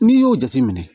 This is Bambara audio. N'i y'o jateminɛ